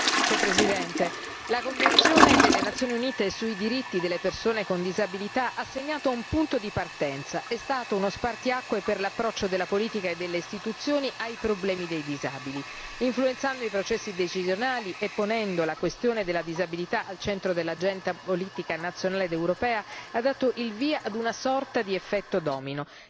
Signor Presidente, onorevoli colleghi, la Convenzione delle Nazioni Unite sui diritti delle persone con disabilità ha segnato un punto di partenza, è stata uno spartiacque per l'approccio della politica e delle istituzioni ai problemi dei disabili. Influenzando i processi decisionali e ponendo la questione della disabilità al centro dell'agenda politica nazionale ed europea ha dato il via ad una sorta di effetto domino.